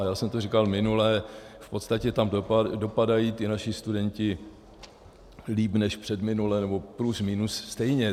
A já jsem to říkal minule, v podstatě tam dopadají ti naši studenti líp než předminule, nebo plus minus stejně.